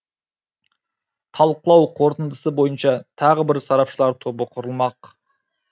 талқылау қорытындысы бойынша тағы бір сарапшылар тобы құрылмақ